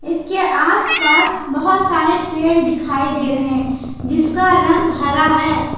इसके आसपास बहुत सारे पेड़ दिखाई दे रहे हैं जिसका रंग हरा है।